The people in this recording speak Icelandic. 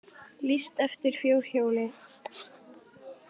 Lýst eftir fjórhjóli